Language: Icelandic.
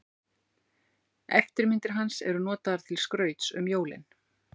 Eftirmyndir hans eru notaðar til skrauts um jólin.